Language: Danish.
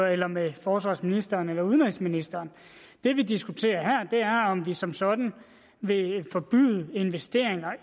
eller med forsvarsministeren eller udenrigsministeren det vi diskuterer her er om vi som sådan vil forbyde investeringer